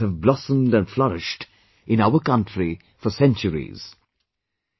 Hundreds of languages have blossomed and flourished in our country for centuries